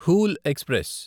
whole express